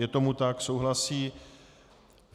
Je tomu tak, souhlasí.